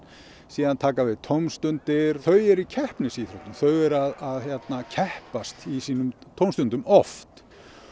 síðan taka við tómstundir þau eru í keppnisíþróttum þau eru að keppast í sínum tómstundum oft